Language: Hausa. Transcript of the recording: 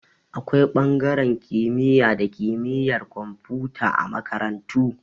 Akwai ɓangaren kimiyya da kimiyar komfuta a makarantu